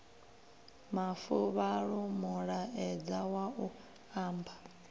mafuvhalo mulaedza wa u amba